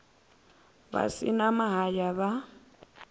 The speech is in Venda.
vha si na mahaya vha